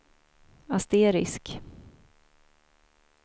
asterisk